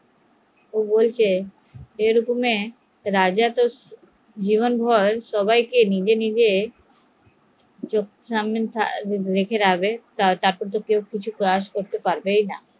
তারপর এরকম এ রাজা জীবন ভোর এখানে রেখে দিলে তারা কোনোদিন কাজ করতে পারবেই না